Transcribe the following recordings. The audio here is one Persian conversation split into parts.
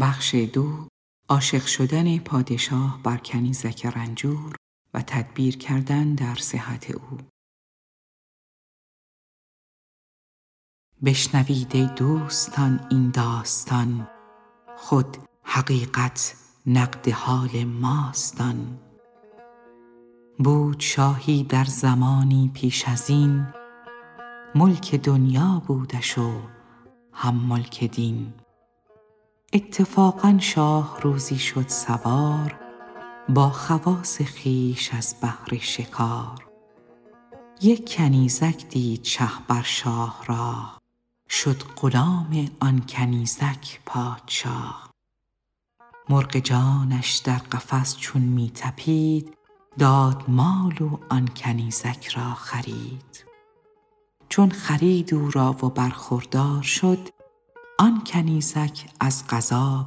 بشنوید ای دوستان این داستان خود حقیقت نقد حال ماست آن بود شاهی در زمانی پیش ازین ملک دنیا بودش و هم ملک دین اتفاقا شاه روزی شد سوار با خواص خویش از بهر شکار یک کنیزک دید شه بر شاه راه شد غلام آن کنیزک پادشاه مرغ جانش در قفس چون می طپید داد مال و آن کنیزک را خرید چون خرید او را و برخوردار شد آن کنیزک از قضا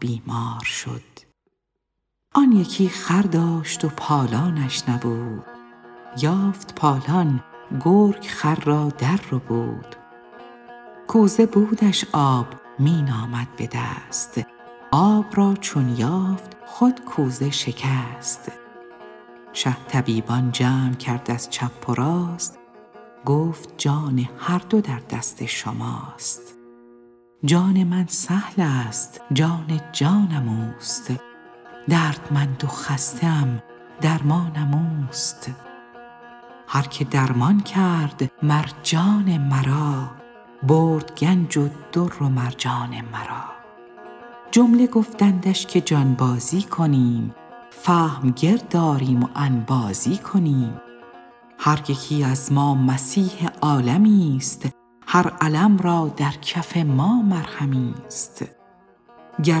بیمار شد آن یکی خر داشت پالانش نبود یافت پالان گرگ خر را در ربود کوزه بودش آب می نامد بدست آب را چون یافت خود کوزه شکست شه طبیبان جمع کرد از چپ و راست گفت جان هر دو در دست شماست جان من سهلست جان جانم اوست دردمند و خسته ام درمانم اوست هر که درمان کرد مر جان مرا برد گنج و در و مرجان مرا جمله گفتندش که جانبازی کنیم فهم گرد آریم و انبازی کنیم هر یکی از ما مسیح عالمیست هر الم را در کف ما مرهمیست گر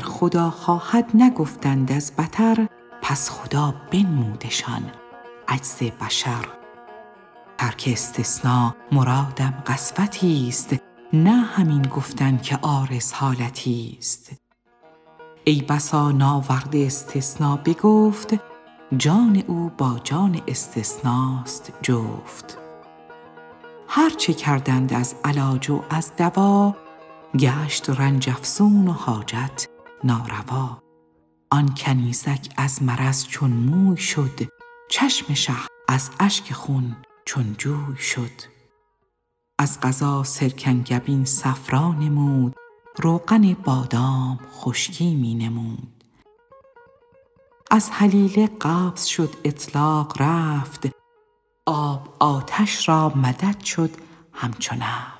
خدا خواهد نگفتند از بطر پس خدا بنمودشان عجز بشر ترک استثنا مرادم قسوتی ست نه همین گفتن که عارض حالتی ست ای بسا ناورده استثنا به گفت جان او با جان استثناست جفت هرچه کردند از علاج و از دوا گشت رنج افزون و حاجت ناروا آن کنیزک از مرض چون موی شد چشم شه از اشک خون چون جوی شد از قضا سرکنگبین صفرا فزود روغن بادام خشکی می نمود از هلیله قبض شد اطلاق رفت آب آتش را مدد شد همچو نفت